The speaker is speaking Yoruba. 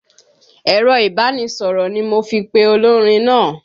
Ẹ̀rọ ìbánisọ̀rọ̀ ni mo fi pe olórin náà.